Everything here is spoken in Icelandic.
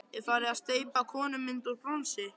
Er farin að steypa konumynd úr bronsi.